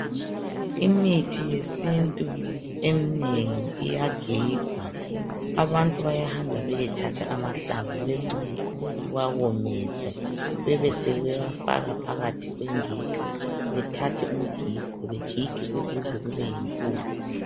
Imithi yesintu eminengi iyagigwa, Abantu bayahamba beyethatha amahlamvu, bewawomise. Besebefaka phakathi komgigo. Begige kuze kube yimpuphu.